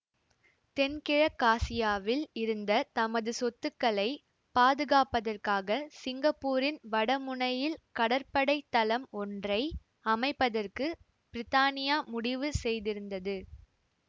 தென்கிழக்காசியாவில் இருந்த தமது சொத்துக்களைப் பாதுகாப்பதற்காகச் சிங்கப்பூரின் வட முனையில் கடற்படை தளம் ஒன்றை அமைப்பதற்குப் பிரித்தானியா முடிவு செய்திருந்தது